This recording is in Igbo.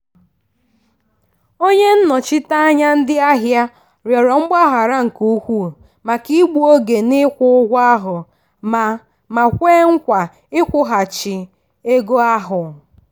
onye nnọchiteanya ndị ahịa rịọrọ mgbaghara nke ukwuu maka igbu oge n'ikwụ ụgwọ ahụ ma ma kwe nkwa nkwụghachi ego ahụ.